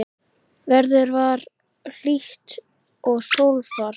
Veður var hlýtt og sólfar.